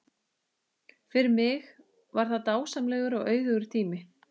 Fyrir mig var það dásamlegur og auðugur tími.